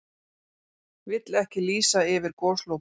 Vill ekki lýsa yfir goslokum